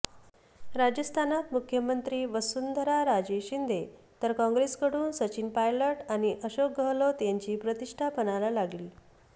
राजस्थानात मुख्यमंत्री वसुंधराराजे शिंदे तर काँग्रेसकडून सचिन पायलट आणि अशोक गहलोत यांची प्रतिष्ठा पणाला लागलीय